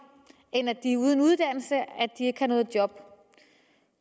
end at de er uden uddannelse og ikke har noget job